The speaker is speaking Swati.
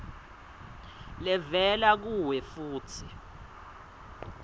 levela kuwe futsi